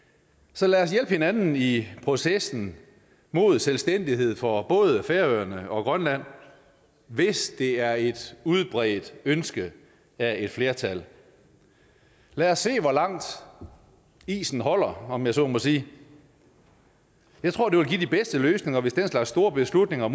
så lad os hjælpe hinanden i processen mod selvstændighed for både færøerne og grønland hvis det er et udbredt ønske af et flertal lad os se hvor langt isen holder om jeg så må sige jeg tror det vil give de bedste løsninger hvis den slags store beslutninger